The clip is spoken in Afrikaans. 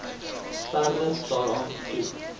verder daaraan toe